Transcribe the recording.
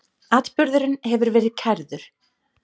Atburðurinn hefur verið kærður.